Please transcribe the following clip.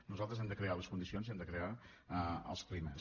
nosaltres hem de crear les condicions i hem de crear els climes